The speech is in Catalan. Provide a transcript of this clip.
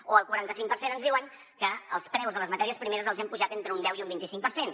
o el quaranta cinc per cent ens diuen que els preus de les matèries primeres els hi han pujat entre un deu i un vint i cinc per cent